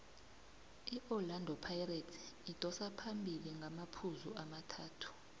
iorlando pirates idosa phambili ngamaphuzu amathathu